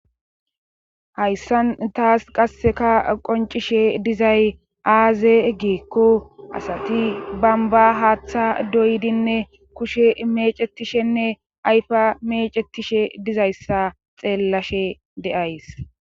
Hayssan taas qasseka qoncishe dizay aaze geekko asati bamba haaththa doydinne kushe mecetishenne ayfa mecetishe dizayssa xeellashe deays